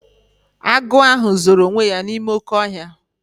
Agụ ahụ zoro onwe ya n'ime oké ọhịa.